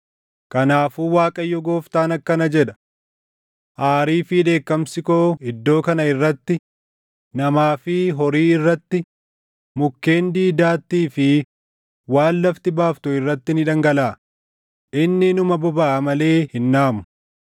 “ ‘Kanaafuu Waaqayyo Gooftaan akkana jedha: Aarii fi dheekkamsi koo iddoo kana irratti, namaa fi horii irratti, mukkeen diidaattii fi waan lafti baaftu irratti ni dhangalaʼa; inni inuma bobaʼa malee hin dhaamu.